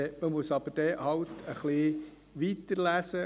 Man muss dann aber halt ein wenig weiterlesen.